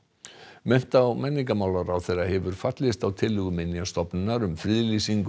mennta og menningarmálaráðherra hefur fallist á tillögu Minjastofnunar um friðlýsingu